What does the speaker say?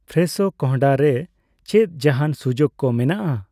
ᱯᱷᱨᱮᱥᱷᱳ ᱠᱚᱱᱰᱦᱟ ᱨᱮ ᱪᱮᱫ ᱡᱟᱦᱟᱸᱱ ᱥᱩᱡᱩᱠ ᱠᱚ ᱢᱮᱱᱟᱜᱼᱟ ?